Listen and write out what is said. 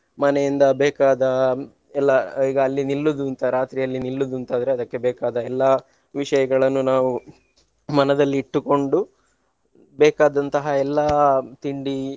ಮನೆಯಿಂದ ಬೇಕಾದ ಎಲ್ಲಾ ಈಗ ಅಲ್ಲಿ ನಿಲ್ಲುದುಂತಾ ರಾತ್ರಿ ಅಲ್ಲಿ ನಿಲ್ಲುದಂತಾದ್ರೆ ಅದಕ್ಕೆ ಬೇಕಾದ ಎಲ್ಲಾ ವಿಷಯಗಳನ್ನು ನಾವು ಮನದಲ್ಲಿ ಇಟ್ಟುಕೊಂಡು ಬೇಕಾದಂತಹ ಎಲ್ಲಾ ತಿಂಡಿ.